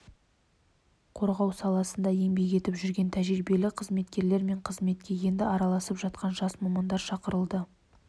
қорғау саласында еңбек етіп жүрген тәжірибелі қызметкерлер мен қызметке енді араласып жатқан жас мамандар шақырылды